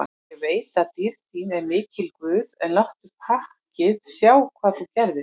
Ég veit að dýrð þín er mikil guð, en láttu pakkið sjá hvað þú gerðir.